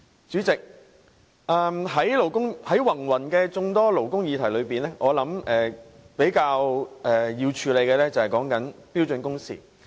主席，在眾多勞工議題中，我相信要較先處理的是標準工時。